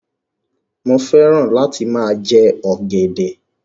Mo fẹ́ràn láti máa jẹ ọ̀gẹ̀dẹ̀.